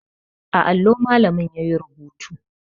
A allo malamin yayi rubutu